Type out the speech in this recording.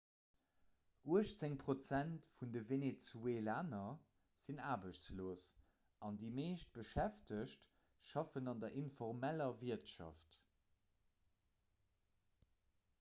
uechtzéng prozent vun de venezuelaner sinn aarbechtslos an déi meescht beschäftegt schaffen an der informeller wirtschaft